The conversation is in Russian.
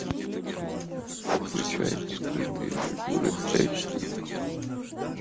включай скрытые фигуры эйч ди